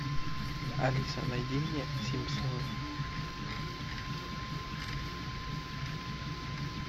алиса найди мне симпсоны